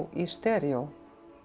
í steríó